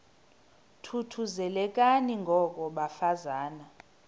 thuthuzelekani ngoko bafazana